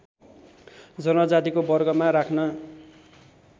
जनजातिको वर्गमा राख्न